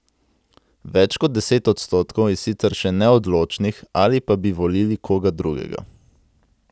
Več kot deset odstotkov je sicer še neodločnih ali pa bi volili koga drugega.